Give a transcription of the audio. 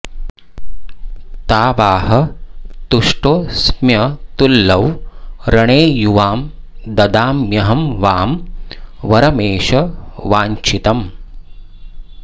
तावाह तुष्टोऽस्म्यतुलौ रणे युवां ददाम्यहं वां वरमेष वाञ्छितम्